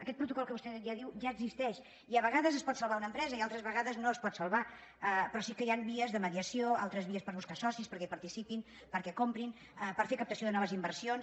aquest protocol que vostè ja diu ja existeix i a vegades es pot salvar una empresa i altres vegades no es pot salvar però sí que hi han vies de mediació altres vies per buscar socis perquè hi participin perquè comprin per fer captació de noves inversions